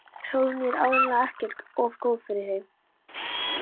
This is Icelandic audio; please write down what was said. SÓLRÚN: Ég er áreiðanlega ekkert of góð fyrir hann.